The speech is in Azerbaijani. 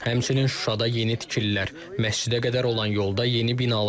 Həmçinin Şuşada yeni tikililər, məscidə qədər olan yolda yeni binalar var.